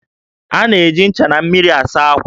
A na-eji ncha na mmiri asa ákwà